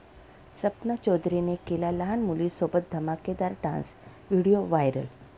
सपना चौधरीने केला लहान मुलीसोबत धमाकेदार डान्स, व्हिडीओ व्हायरल